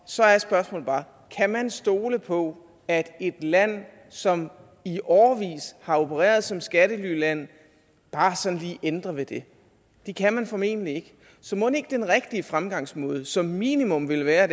så er spørgsmålet bare kan man stole på at et land som i årevis har opereret som skattelyland bare sådan lige ændrer ved det det kan man formentlig ikke så mon ikke den rigtige fremgangsmåde som minimum ville være